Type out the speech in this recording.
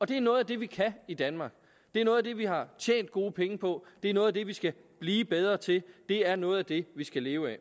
det er noget af det vi kan i danmark det er noget af det vi har tjent gode penge på det er noget af det vi skal blive bedre til det er noget af det vi skal leve af